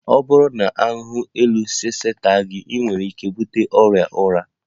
Ọ bụrụ na ahụhụ elu sese ata gị, ị nwere ike ibute ọrịa ụra